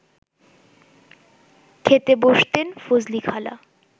খেতে বসতেন ফজলিখালা